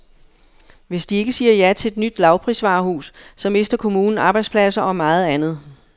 Hvis de ikke siger ja til et nyt lavprisvarehus, så mister kommunen arbejdspladser og meget andet.